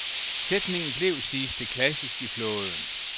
Sætningen blev, siges det, klassisk i flåden.